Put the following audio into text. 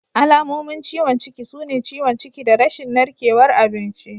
Alamomin ciwon ciki sune ciwon ciki da rashin narkewar abinci.